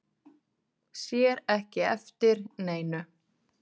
Sér ekki eftir neinu